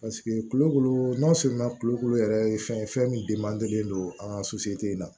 kulokulu n'an sumana kulokulu yɛrɛ ye fɛn ye fɛn min don an ka in na